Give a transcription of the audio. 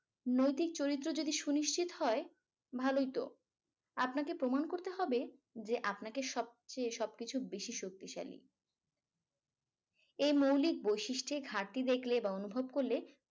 নৈতিক চরিত্র যদি সুনিশ্চিত হয় ভালোই তো আপনাকে প্রমান করতে হবে যে আপনাকে সবচেয়ে সবকিছু বেশি শক্তিশালী এই মৌলিক বৈশিষ্ঠে ঘাটতি দেখলে বা অনুভব করলে